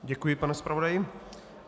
Děkuji, pane zpravodaji.